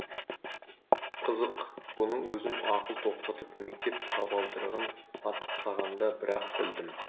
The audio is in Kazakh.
қызық бұны өзім ақыл тоқтатып мектеп табалдырығын аттағанда бір ақ білдім